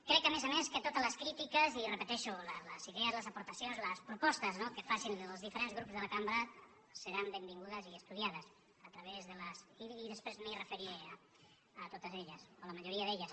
crec a més a més que totes les crítiques i ho repeteixo les idees les aportacions les propostes no que facin els diferents grups de la cambra seran benvingudes i estudiades i després m’hi referiré a totes elles o a la majoria d’elles